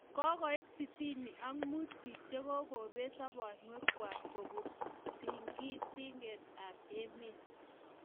kokoit sitini ak muut biik che kokobet sabonywek kwak kobun tingting'enet ab emet